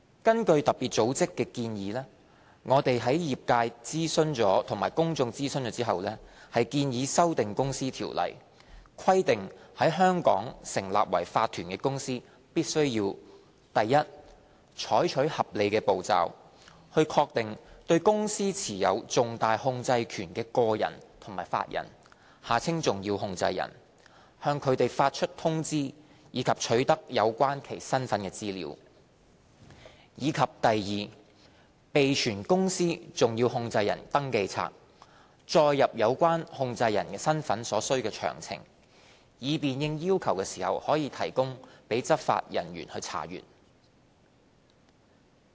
根據特別組織的要求，我們在諮詢業界和公眾後，建議修訂《公司條例》，規定在香港成立為法團的公司必須： a 採取合理步驟，確定對公司持有重大控制權的個人及法人、向他們發出通知，以及取得有關其身份的資料；及 b 備存公司重要控制人的登記冊，載入有關控制人身份的所需詳情，以便應要求供執法人員查閱。